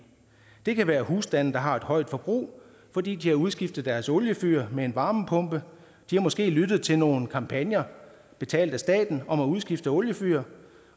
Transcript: det kan være husstande der har et højt forbrug fordi de har udskiftet deres oliefyr med en varmepumpe de har måske lyttet til nogle kampagner betalt af staten om at udskifte oliefyr